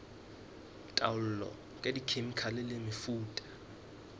taolo ka dikhemikhale le mefuta